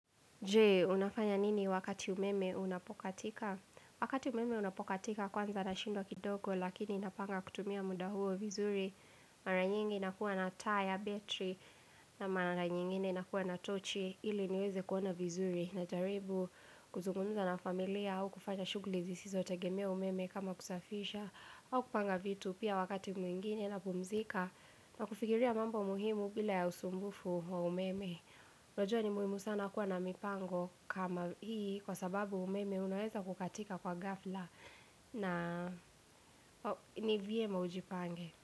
Jee, unafanya nini wakati umeme unapokatika? Wakati umeme unapokatika kwanza nashindwa kidogo lakini napanga kutumia muda huo vizuri mara nyingi na kuwa na taa ya battery na mara nyingine nakuwa na tochi ili niweze kuona vizuri na jaribu kuzungumza na familia au kufanya shugulizi zisotegemea umeme kama kusafisha au kupanga vitu pia wakati mwingine napumzika na kufigiria mambo muhimu bila ya usumbufu wa umeme Unajua ni muhimu sana kuwa na mipango kama hii kwa sababu umeme unaweza kukatika kwa ghafla na ni vyema ujipange.